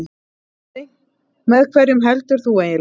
Með hverjum heldur þú eiginlega?